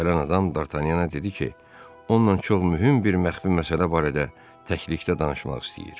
Gələn adam Dartanyana dedi ki, onunla çox mühüm bir məxfi məsələ barədə təklikdə danışmaq istəyir.